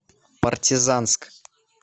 партизанск